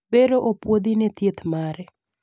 bero opuodhi ne thieth mare